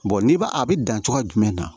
n'i b'a a bɛ dan cogoya jumɛn na